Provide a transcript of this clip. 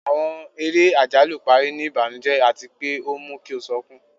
Àwọn eré ajalu pari ni ibanujẹ ati pe o mu ki o sọkun